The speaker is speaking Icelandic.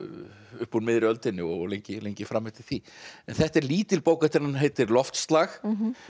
upp úr miðri öldinni og lengi lengi fram eftir því þetta er lítil bók eftir hann heitir loftslag